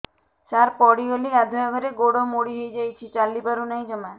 ସାର ପଡ଼ିଗଲି ଗାଧୁଆଘରେ ଗୋଡ ମୋଡି ହେଇଯାଇଛି ଚାଲିପାରୁ ନାହିଁ ଜମା